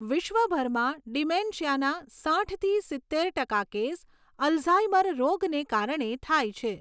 વિશ્વભરમાં ડિમેન્શિયાના સાઈઠથી સિત્તેર ટકા કેસ અલ્ઝાઈમર રોગને કારણે થાય છે.